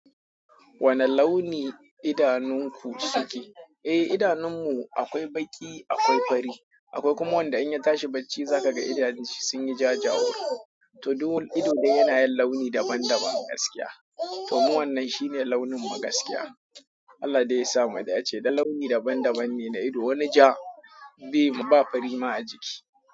Wane launi idanunku suke? Eh, idanun mu akwai baƙi, akwai fari, akwai kuma wanda in ya tashi bacci za ka ga idanun shi sun yi jajawur. To duk wani ido dai yana yin launi daban-daban gaskiya. To mu wannan shine launin mu gaskiya. Allah dai ya sa mu dace, dan launi daban-daban ne na ido. Wani ja, bai ba fari ma a jiki.